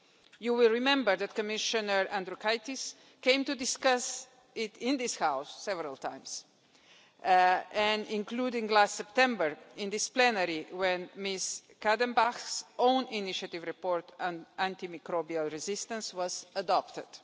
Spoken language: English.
You will remember that Commissioner Andriukaitis came to discuss it in this House several times, including last September in this plenary, when Ms Kadenbach's own-initiative report on antimicrobial resistance was adopted.